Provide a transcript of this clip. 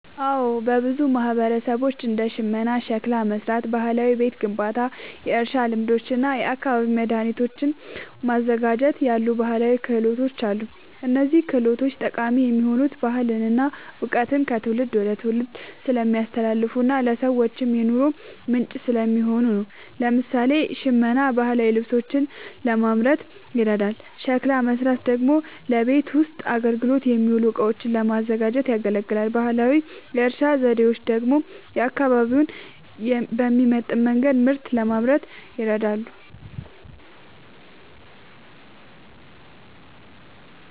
አዎ፣ በብዙ ማህበረሰቦች እንደ ሽመና፣ ሸክላ መሥራት፣ ባህላዊ ቤት ግንባታ፣ የእርሻ ልማዶች እና የአካባቢ መድኃኒቶችን ማዘጋጀት ያሉ ባህላዊ ክህሎቶች አሉ። እነዚህ ችሎታዎች ጠቃሚ የሆኑት ባህልን እና እውቀትን ከትውልድ ወደ ትውልድ ስለሚያስተላልፉና ለሰዎችም የኑሮ ምንጭ ስለሚሆኑ ነው። ለምሳሌ፣ ሽመና ባህላዊ ልብሶችን ለማምረት ይረዳል፤ ሸክላ መሥራት ደግሞ ለቤት ውስጥ አገልግሎት የሚውሉ እቃዎችን ለማዘጋጀት ያገለግላል። ባህላዊ የእርሻ ዘዴዎች ደግሞ አካባቢውን በሚመጥን መንገድ ምርት ለማምረት ይረዳሉ።